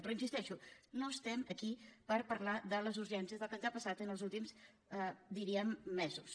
però hi insisteixo no estem aquí per parlar de les urgències del que ens ha passat els últims diríem mesos